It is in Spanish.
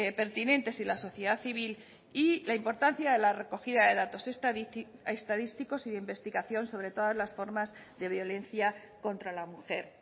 pertinentes y la sociedad civil y la importancia de la recogida de datos estadísticos y de investigación sobre todas las formas de violencia contra la mujer